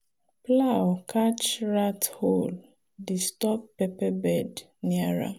plow catch rat hole disturb pepper bed near am.